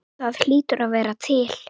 Það hlýtur að vera til?